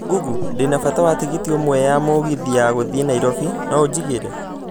Google, ndĩ na bata wa tigiti umwe ya mũgithi ya gũthiĩ Nairobi, no ũjĩgire